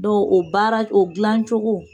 o baara o gilancogo.